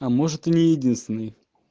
а может не единственный